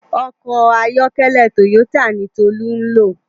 Òkò àyòkèlè tóyótá ni Tolu n ló